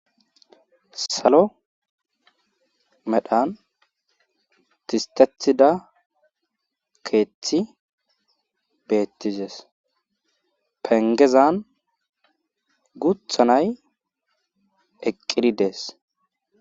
Salo medhan disttettida keethi beettizees penggezan guutha nay eqqid dees.